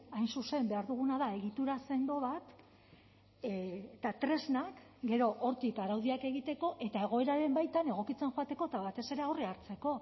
hain zuzen behar duguna da egitura sendo bat eta tresnak gero hortik araudiak egiteko eta egoeraren baitan egokitzen joateko eta batez ere aurre hartzeko